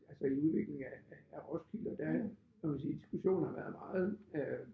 Altså i udviklingen af af af Roskilde og der må man sige diskussionen har været meget øh